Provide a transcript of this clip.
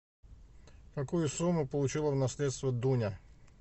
какую сумму получила в наследство дуня